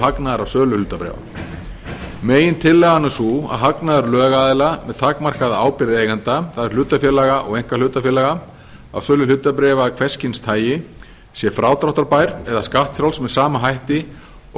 hagnaðar af sölu hlutabréfa megintillagan er sú að hagnaður lögaðila með takmarkaða ábyrgð eigenda það er hlutafélaga og einkahlutafélaga að sölu hlutabréfa af hvers kyns tagi sé frádráttarbær eða skattfrjáls með sama hætti og